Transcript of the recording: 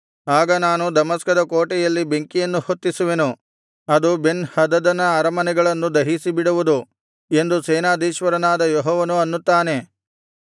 ಆಗ ನಾನು ದಮಸ್ಕದ ಕೋಟೆಯಲ್ಲಿ ಬೆಂಕಿಯನ್ನು ಹೊತ್ತಿಸುವೆನು ಅದು ಬೆನ್ ಹದದನ ಅರಮನೆಗಳನ್ನು ದಹಿಸಿಬಿಡುವುದು ಎಂದು ಸೇನಾಧೀಶ್ವರನಾದ ಯೆಹೋವನು ಅನ್ನುತ್ತಾನೆ